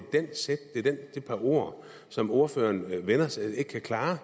de ord som ordføreren ikke kan klare